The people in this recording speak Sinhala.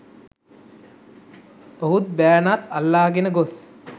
ඔහුත් බෑණාත් අල්ලාගෙන ගොස්